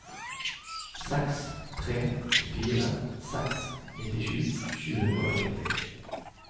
seks tre fire seks nittisju sju hundre og nitti